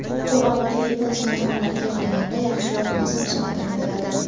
u avvalgi Apple smartfonlariga qaraganda yaxshiroq rasm sifatini beradi.